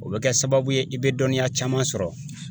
O be kɛ sababu ye i be dɔnniya caman sɔrɔ